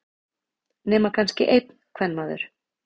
Nema kannski einn kvenmaður.